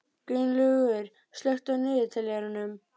Gunnlaugur, slökktu á niðurteljaranum.